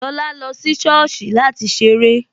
Lọlá lọ sí sọ́ọ̀sì láti ṣeré